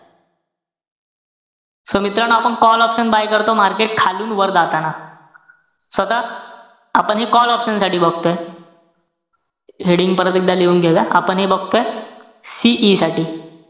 So मित्रांनो, आपण call option buy करतो, market खालून वर जाताना. so आता, आपण हे call option साठी बघतोय. heading परत एकदा लिहून घेऊया. आपण हे बघतोय CE साठी.